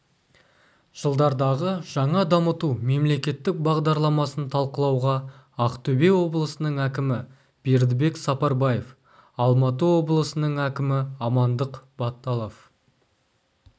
жылдардағы жаңа дамыту мемлекеттік бағдарламасын талқылауға ақтөбе облысының әкімі бердібек сапарбаев алматы облысының әкімі амандық баталов